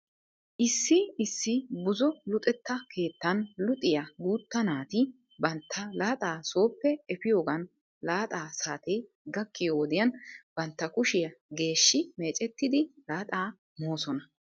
Issi issi buzo luxetta keettan luxiyaa guuta naati bantta laaxaa sooppe efiyoogan laaxa saatee gakkiyoo wodiyan bantta kushiya geeshshi meecettidi laaxaa moosona.